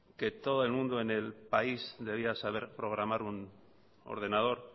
que todo el mundo en el país debía saber programar un ordenador